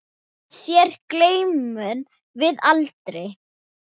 Þér gleymum við aldrei.